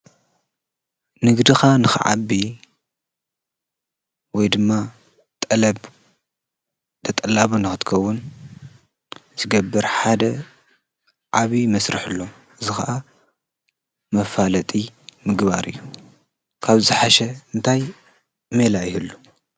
ንግድኻ ንኸዓቢ ወይ ድማ ጠለብ ተጠላብ ናወትከውን ዝገብር ሓደ ዓብ መሥርሕ ሎ ዝኸዓ መፋለጢ ምግባር እዩ ካብ ዝሓሸ እንታይ ሜላ ይየሉ።